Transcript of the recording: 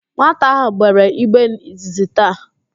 Nwata ahụ gbere igbe izizi taa